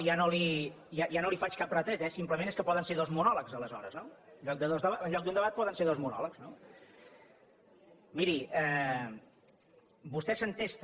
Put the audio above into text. i ja no li faig cap retret eh simplement és que poden ser dos monòlegs aleshores no en lloc d’un debat poden ser dos monòlegs no miri vostè s’entesta